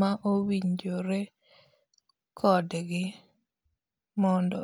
ma owinjore kodgi mondo.